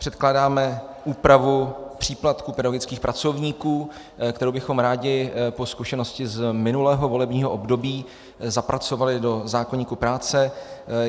Předkládáme úpravu příplatku pedagogických pracovníků, kterou bychom rádi po zkušenosti z minulého volebního období zapracovali do zákoníku práce.